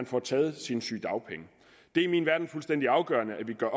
frataget sine sygedagpenge det er i min verden fuldstændig afgørende at vi gør